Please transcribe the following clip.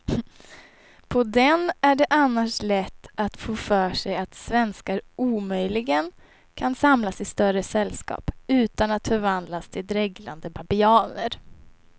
På den är det annars lätt att få för sig att svenskar omöjligen kan samlas i större sällskap utan att förvandlas till dreglande babianer.